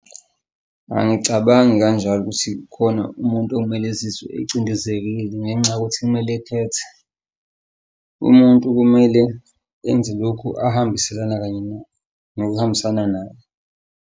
Angicabangi kanjalo ukuthi kukhona umuntu okumele ezizwe ecindezelekile ngenxa yokuthi kumele ekhethe. Umuntu kumele enze lokhu ahambiselana kanye nakho nokuhambisana naye.